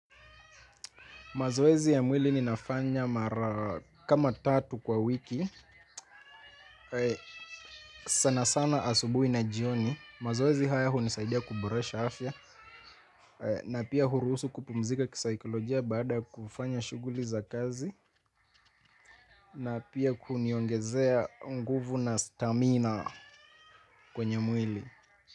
Mazoezi ya mwili ninafanya mara kama tatu kwa wiki, sana sana asubuhi na jioni, mazoezi haya hunisaidia kuboresha afya, na pia hurusu kupumzika kisaikolojia baada kufanya shughuli za kazi, na pia kuniongezea nguvu na stamina kwenye mwili.